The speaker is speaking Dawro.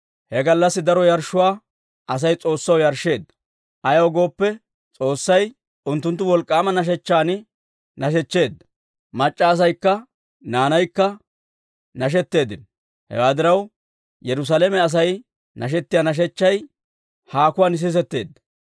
He gallassi daro yarshshuwaa Asay S'oossaw yarshsheedda; ayaw gooppe, S'oossay unttunttu wolk'k'aama nashechchan nashechcheedda; mac'c'a asaykka naanaykka nashetteeddino. Hewaa diraw, Yerusaalame Asay nashetiyaa nashechchay haakuwaan sisetteedda.